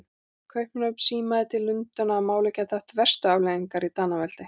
Kaupmannahöfn símaði til Lundúna, að málið gæti haft verstu afleiðingar í Danaveldi.